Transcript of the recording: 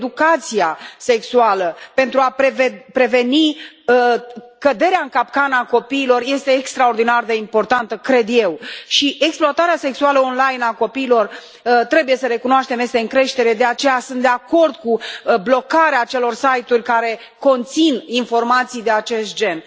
Educația sexuală, pentru a preveni căderea în capcană a copiilor, este extraordinar de importantă, cred eu, și exploatarea sexuală online a copiilor, trebuie să recunoaștem, este în creștere, de aceea, sunt de acord cu blocarea acelor site uri care conțin informații de acest gen.